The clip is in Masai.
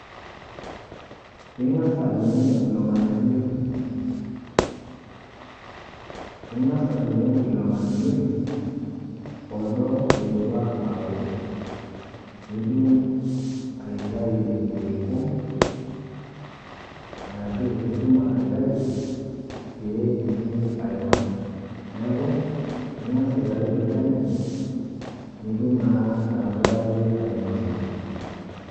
Ing'as adung'u ilo ng'anayioi, ing'as adung'u ilo ng'anayioi odo oidipa awo, nitum aitayu irkiku arashu nitum aitayu pee itum ainosa neaku ing'as aitayu tolchani nitum naa atabaraki ainosa.